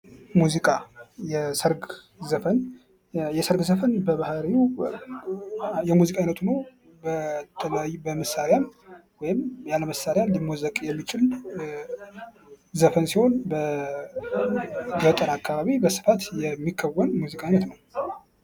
ሙዚቃ ፤የሰርግ ዘፈን የሠርግ፦ የሠርግ ዘፈን በባህሪው የሙዚቃ አይነት ሁኖ በመሳሪያም መሳሪያ ሊሞዘቅ የሚችል ሲሆን በገጠር አካባቢ በስፋት የሚከወን የሙዚቃ አይነት ነው።